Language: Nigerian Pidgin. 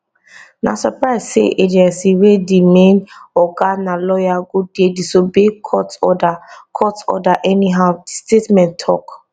na surprise say agency wey di main oga na lawyer go dey disobey court order court order anyhow di statement tok